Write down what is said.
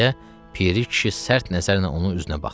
deyə piri kişi sərt nəzərlə onun üzünə baxdı.